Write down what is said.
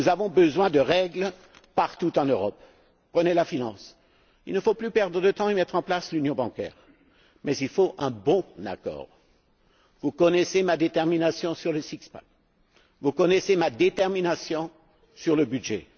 Nous avons besoin de règles partout en Europe. Prenez la finance. Il ne faut plus perdre de temps et mettre en place l'union bancaire, mais il faut un bon accord. Vous connaissez ma détermination sur le six pack vous connaissez ma détermination sur le